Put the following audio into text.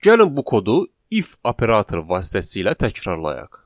Gəlin bu kodu if operatoru vasitəsilə təkrarlayaq.